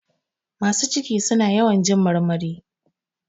Masu ciki suna yawan jin marmari.